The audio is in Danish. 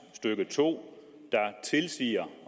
stykke to der tilsiger